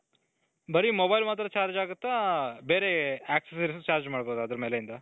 ಬರೀ mobile ಮಾತ್ರ charge ಆಗುತ್ತಾ ಬೇರೆ accessories charge ಮಾಡಬಹುದ ಅದರ ಮೇಲಿಂದ ?